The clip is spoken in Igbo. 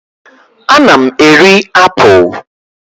Ana m eri apụl.